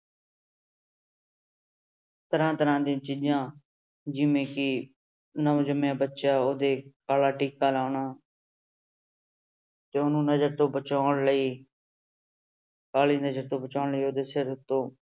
ਤਰ੍ਹਾਂ ਤਰ੍ਹਾਂ ਦੀਆਂ ਚੀਜ਼ਾਂ ਜਿਵੇਂ ਕਿ ਨਵਜੰਮਿਆਂ ਬੱਚਾ ਉਹਦੇ ਕਾਲਾ ਟੀਕਾ ਲਾਉਣਾ ਤੇ ਉਹਨੂੰ ਨਜ਼ਰ ਤੋਂ ਬਚਾਉਣ ਲਈ ਕਾਲੀ ਨਜ਼ਰ ਤੋਂ ਬਚਾਉਣ ਲਈ ਉਹਦੇ ਸਿਰ ਉੱਤੋਂ